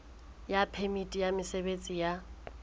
ya phemiti ya mosebetsi ya